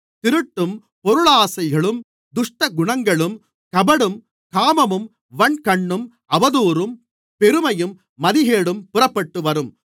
திருட்டும் பொருளாசைகளும் துஷ்டகுணங்களும் கபடும் காமமும் வன்கண்ணும் அவதூறும் பெருமையும் மதிகேடும் புறப்பட்டுவரும்